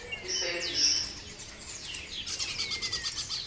isevisi